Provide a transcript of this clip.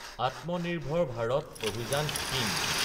আত্মা নিৰ্ভাৰ ভাৰত অভিযান স্কিম